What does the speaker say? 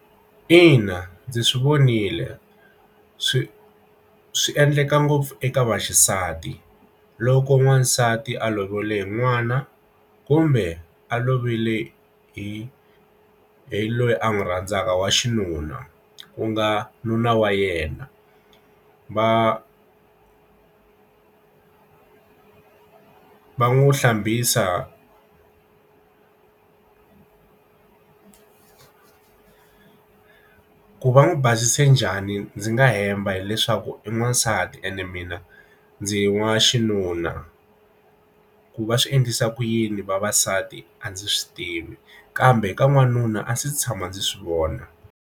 Ina ndzi swi vonile swi swi endleka ngopfu eka vaxisati loko n'wansati a lovile n'wana kumbe a lovile hi hi loyi a n'wi rhandzaka wa xinuna ku nga nuna wa yena va va n'wi hlambisa ku va n'wi basise njhani ndzi nga hemba hileswaku i n'wansati ene mina ndzi wa xinuna ku va swi endlisa ku yini vavasati a ndzi swi tivi kambe ka n'wanuna a se tshama ndzi swi vona.